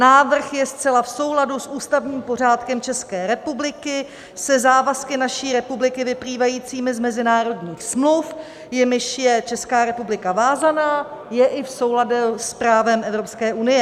Návrh je zcela v souladu s ústavním pořádkem České republiky, se závazky naší republiky vyplývajícími z mezinárodních smluv, jimiž je Česká republika vázaná, je i v souladu s právem Evropské unie.